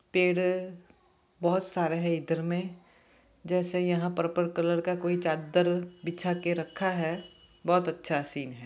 Paid बहुत सारा है इधर में जैसे यहाँ पर्पल कलर का कोई चादर बीछा के रखा है बहुत अच्छा सीन है।